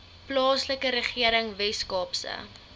plaaslike regering weskaapse